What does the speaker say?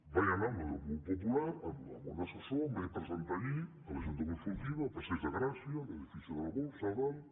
vaig anar hi com a grup popular amb un assessor em vaig presentar allí a la junta consultiva al passeig de gràcia a l’edifici de la borsa a dalt